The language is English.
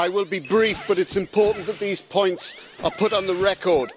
I will be brief but it's important that these points are put on the record.